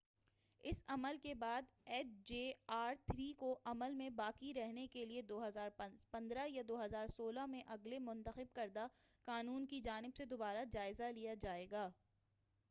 اس عمل کے بعد ایچ جے آر3 کو عمل میں باقی رہنے کے لیے 2015ء یا 2016ء میں اگلے منتخب کردہ قانون کی جانب سے دوبارہ جائزہ لیا جائے گا